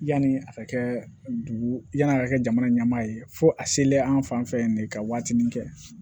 Yani a ka kɛ dugu yanni a ka kɛ jamana ɲɛmaa ye fo a selen an fan fɛ yan de ka waatinin kɛ